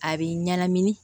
A b'i ɲɛnamini